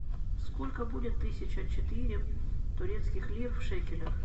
сколько будет тысяча четыре турецких лир в шекелях